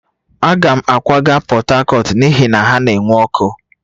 Aga m akwaga Portharcourt n'ihi na ha na-enwe ọkụ